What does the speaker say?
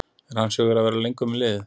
Er hans hugur að vera lengur með liðið?